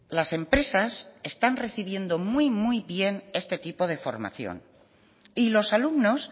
las empresas están recibiendo muy muy bien este tipo de formación y los alumnos